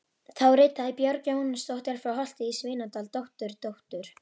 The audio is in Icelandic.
Þá ritaði Björg Jóhannsdóttir frá Holti í Svínadal, dótturdóttir